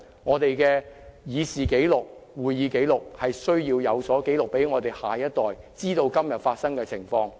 我們必須把這一切記錄在會議過程正式紀錄中，讓下一代知道今天發生的情況。